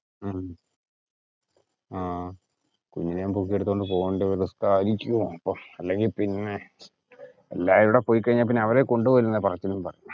ഉം ആഹ് കുഞ്ഞിനേം പൊക്കി എടുത്തോണ്ട് പോവേണ്ട അല്ലെങ്കിൽ പിന്നെ എല്ലാരുടെ പൊയ്ക്കഴിഞ്ഞ പിന്നെ അവരെ കൊണ്ടുപോയില്ലന്ന പറച്ചിലും പറയും.